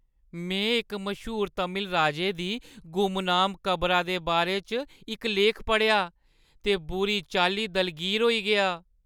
में इक मश्हूर तमिल राजे दी गुमनाम कबरा दे बारे च इक लेख पढ़ेआ ते बुरी चाल्ली दलगीर होई गेआ।